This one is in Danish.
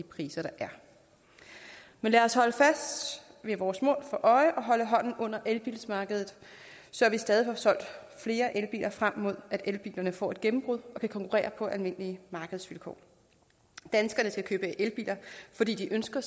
priser der er men lad os holde vores mål for øje og holde hånden under elbilmarkedet så vi stadig får solgt flere elbiler frem mod at elbilerne får et gennembrud og kan konkurrere på almindelige markedsvilkår danskerne skal købe elbiler fordi de ønsker